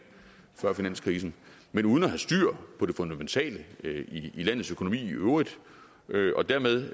før finanskrisen men uden at have styr på det fundamentale i landets økonomi i øvrigt og dermed